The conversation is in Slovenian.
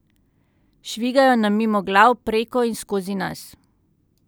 Švigajo nam mimo glav, preko in skozi nas.